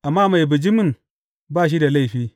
Amma mai bijimin ba shi da laifi.